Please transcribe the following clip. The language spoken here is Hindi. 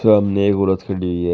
सामने वाला थ्री डी है।